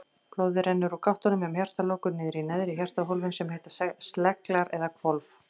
Blóðið rennur úr gáttunum um hjartalokur niður í neðri hjartahólfin sem heita sleglar eða hvolf.